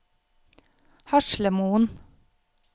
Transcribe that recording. Haslemoen